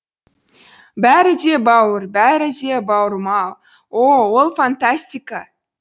бәрі де бауыр бәрі де бауырмал о о ол фантастика